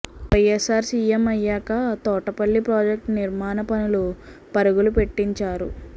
YSR CM అయ్యాక Thotapalli project నిర్మాణ పనులు పరుగులు పెట్టించారు